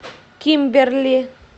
кимберли